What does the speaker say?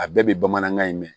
A bɛɛ bɛ bamanankan in mɛn